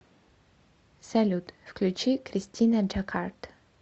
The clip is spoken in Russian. салют включи кристина джакард